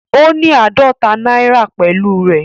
Ó ní àádọ́ta náírà pẹ̀lú rẹ̀.